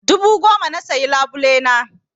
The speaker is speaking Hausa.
Dubu goma na siya farin labule na.